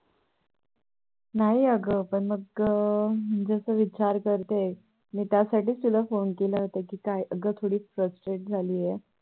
नाही आगा मग आता दुसरं विचार करतेय मी त्यासाठी तुलाच Phone केला होता कि काय अग थोडी Frustrate झाली आहे